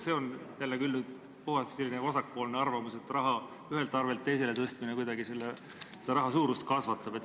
See on küll puhtalt vasakpoolne arvamus, et raha ühelt arvelt teisele tõstmine kuidagi raha hulka kasvatab.